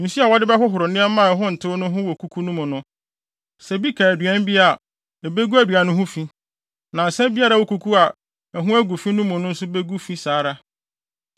Nsu a wɔde bɛhohoro nneɛma a ɛho ntew no ho wɔ kuku no mu no, sɛ bi ka aduan bi a, ebegu aduan no ho fi. Na nsã biara a ɛwɔ kuku a ɛho agu fi no mu no nso ho begu fi saa ara.